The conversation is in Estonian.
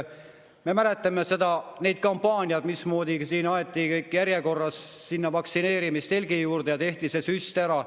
Me mäletame neid kampaaniad, mismoodi aeti kõik järjekorras vaktsineerimistelgi juurde ja tehti see süst ära.